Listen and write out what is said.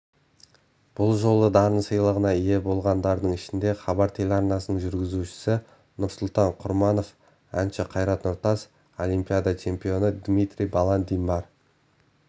бұл жолы дарын сыйлығына ие болғандардың ішінде хабар телеарнасының белгілі жүргізушісі нұрсұлтан құрманов әнші қайрат нұртас олимпиада чемпионы дмитрий баландин бар